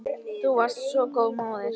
Þú varst svo góð móðir.